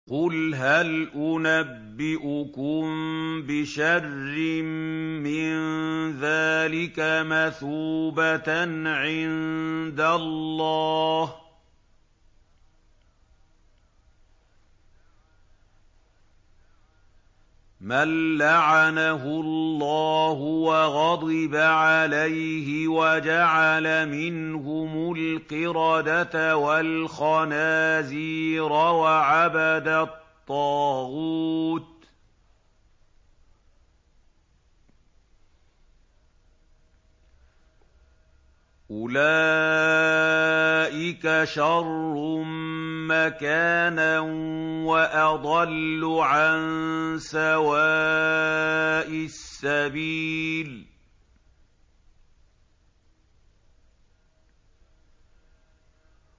قُلْ هَلْ أُنَبِّئُكُم بِشَرٍّ مِّن ذَٰلِكَ مَثُوبَةً عِندَ اللَّهِ ۚ مَن لَّعَنَهُ اللَّهُ وَغَضِبَ عَلَيْهِ وَجَعَلَ مِنْهُمُ الْقِرَدَةَ وَالْخَنَازِيرَ وَعَبَدَ الطَّاغُوتَ ۚ أُولَٰئِكَ شَرٌّ مَّكَانًا وَأَضَلُّ عَن سَوَاءِ السَّبِيلِ